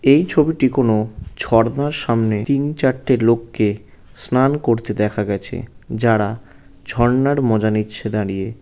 এই ছবিটি কোন ঝর্ণার সামনে তিন চারটে লোককে স্নান করতে দেখা গেছে যারা ঝর্ণার মজা নিচ্ছে দাঁড়িয়ে।